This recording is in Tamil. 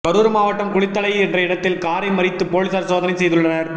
கரூர் மாவட்டம் குளித்தலை என்ற இடத்தில் காரை மறித்து போலீசார் சோதனை செய்துள்ளனர்